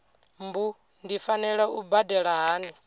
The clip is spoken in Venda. mbu ndi fanela u badela hani